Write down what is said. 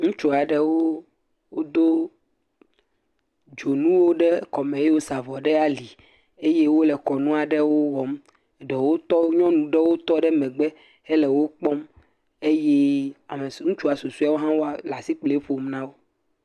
Ŋutsu aɖewo wodo dzonuwo ɖewo ɖe kɔ me eye wosa dzonu ɖe ali eye wole kɔnu aɖewo wɔm, ɖewo tɔ ɖe, nyɔnu ɖewo tɔ ɖe megbe le wo kpɔm, eye ŋutsua susɔewo hã wole asikpoli ƒom na wo.